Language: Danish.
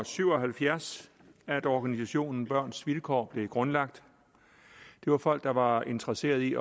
syv og halvfjerds at organisationen børns vilkår blev grundlagt det var folk der var interesserede i